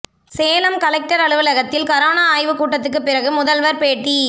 Salem collector அலுவலகத்தில் corona ஆய்வு கூட்டத்துக்குப் பிறகு முதல்வர் பேட்டி